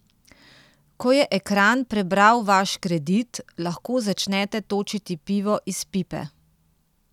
Ko je ekran prebral vaš kredit, lahko začnete točiti pivo iz pipe.